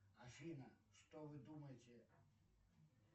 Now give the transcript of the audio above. афина что вы думаете